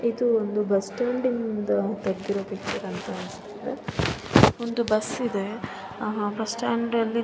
ಇದು ಒಂದು ಬುಸ್ಸ್ಟ್ಯಾಂಡಿನಿಂದ ನಿಂದ ತೆಗ್ದಿರೋ ಪಿಕ್ಚರ್ ಅನ್ಸುತ್ತೆ ಒಂದು ಬಸ್ಸ ಇದೆ ಆಹ್ಹ್ ಬಸ್ಸಸ್ಟಾಂಡ್ ಅಲ್ಲಿ--